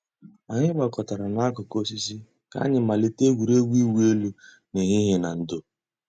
Ànyị̀ gbàkọ̀tárà n'àkùkò òsìsì kà ànyị̀ màlítè ègwè́régwụ̀ ị̀wụ̀ èlù n'èhìhìè nà ndò̩.